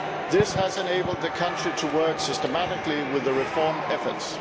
This has enabled the country to work systematically with the reform efforts.